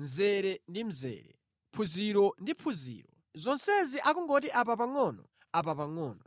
mzere ndi mzere, phunziro ndi phunziro. Zonsezi akungoti apa pangʼono apa pangʼono.”